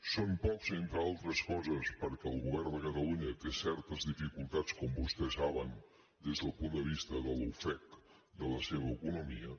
són pocs entre altres coses perquè el govern de catalunya té certes dificultats com vostès saben des del punt de vista de l’ofec de la seva economia